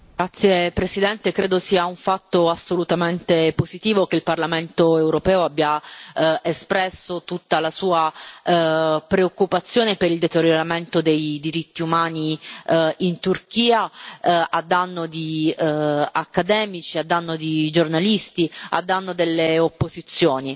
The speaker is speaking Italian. Signor Presidente, onorevoli colleghi, credo sia un fatto assolutamente positivo che il Parlamento europeo abbia espresso tutta la sua preoccupazione per il deterioramento dei diritti umani in Turchia, a danno di accademici, a danno di giornalisti, a danno delle opposizioni.